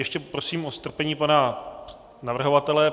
Ještě prosím o strpení pana navrhovatele.